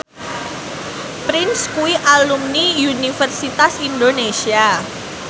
Prince kuwi alumni Universitas Indonesia